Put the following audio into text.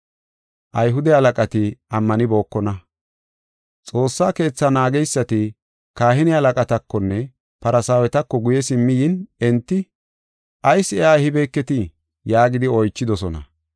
Xoossa Keetha naageysati kahine halaqatakonne Farsaawetako guye simmi yin enti, “Ayis iya ehibeketii?” yaagidi oychidosona.